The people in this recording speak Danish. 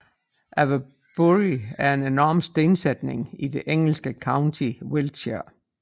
Avebury er en enorm stensætning i det engelske county Wiltshire